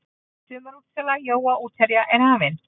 Sumarútsala jóa útherja er hafin.